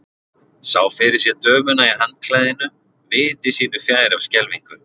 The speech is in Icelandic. Sá fyrir sér dömuna í handklæðinu viti sínu fjær af skelfingu.